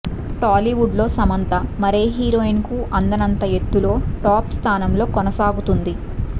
టాలీవుడ్ లో సమంత మరే హీరోయిన్ కు అందనంత ఎత్తులో టాప్ స్థానంలో కొనసాగుతుంది